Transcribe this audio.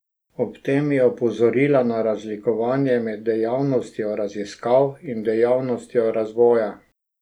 Ob tem je opozoril na razlikovanje med dejavnostjo raziskav in dejavnostjo razvoja.